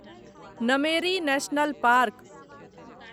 Nameri national park